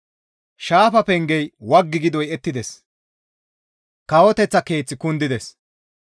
Shaafa pengey waggi gi doyettides; kawoteththa keeththi kundides.